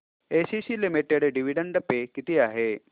ACC limited dividend pay किती आहे